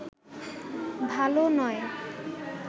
ভালো নয়